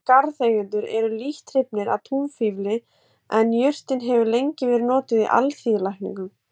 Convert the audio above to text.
Flestir garðeigendur eru lítt hrifnir af túnfífli en jurtin hefur lengi verið notuð í alþýðulækningum.